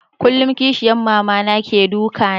Kullum kishiyan Mama na ke duka na